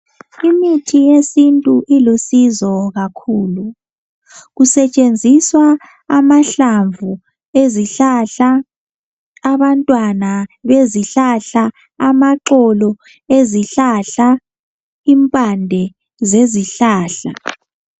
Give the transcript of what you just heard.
Imithi yesintu ilusizo kakhulu, kusetshenziswa amahlamvu ezihlahla, abantwana bezihlahla, amaxolo ezihlahla, impande zezihlahla